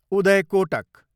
Uday Kotak